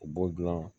U b'o dilan